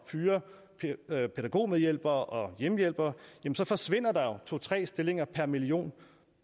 fyre pædagogmedhjælpere og hjemmehjælpere forsvinder der jo to tre stillinger per million